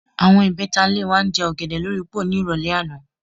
Àwo̩n ìbé̩ta ilé wa ń je̩ ò̩gè̩dè̩ lórí póò ní ìrò̩lé̩ àná